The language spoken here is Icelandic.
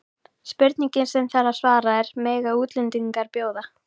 Spurningin sem þarf að svara er: Mega útlendingar bjóða?